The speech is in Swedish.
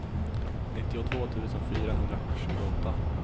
nittiotvå tusen fyrahundratjugoåtta